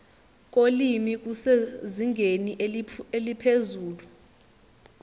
kolimi kusezingeni eliphezulu